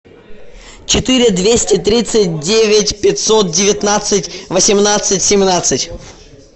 четыре двести тридцать девять пятьсот девятнадцать восемнадцать семнадцать